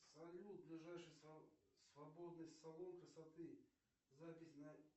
салют ближайший свободный салон красоты запись на